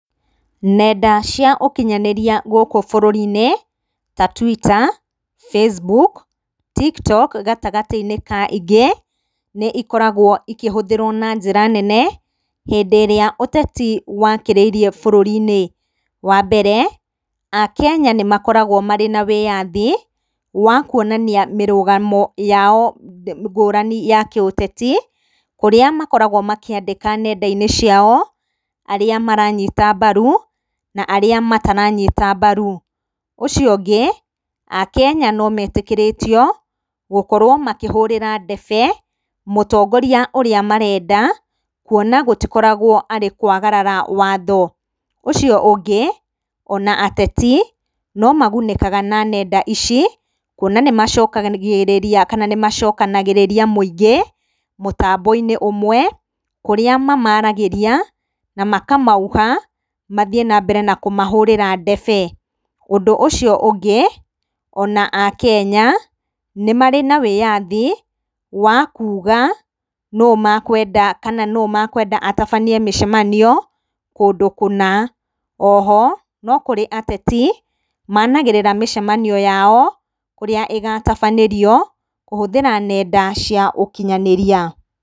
Nenda cia ũkinyhanĩria gũkũ bũrũri-inĩ, ta Twitter, Facebook, Tiktok, gatagatĩ-inĩ kaingĩ, nĩ ikoragwo ikĩhĩthĩrwo na njĩra nene, hĩndĩrĩa ũteti wakĩrĩirie bũrũri-inĩ, wa mbere, a Kenya nĩ makoragwo marĩ na wĩyathi, wa kuonania mĩrũgamo yao ngũrani ya kĩũteti, kũrĩa makoragwo makĩandĩka nenda-inĩ ciao, arĩa maranyita mbaru, na arĩa mataranyita mbaru, ũcio ũngĩ a Kenya no metĩkĩrĩtio, gũkorwo makĩhũrĩra ndebe, mũtongoria ũrĩa marenda, kuona gũtikoragwo arĩ kwagarara watho, ũcio ũngĩ, ona ateti no magunĩkaga na nenda ici, kuona nĩ macokagĩrĩria kana nĩ macokanagĩrĩria mũingĩ, mũtambo-inĩ ũmwe, kũrĩa mamaragĩria, na makamauha mathiĩ nambere na kũmahũrĩra ndebe, ũndũ ũcio ũngĩ, ona a Kenya nĩmarĩ na wĩyathi, wakuga, nũ mekwenda, kana nũ mekwenda atabanie mĩcemanio, kũndũ kũna, oho, nokũrĩ ateti, managĩrĩra mĩcemanio yao, kũrĩa ĩgatabanĩrio, kũhũthĩra nenda cia ũkinyanĩria.